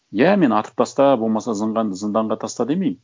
иә мен атып таста болмаса зынданға таста демеймін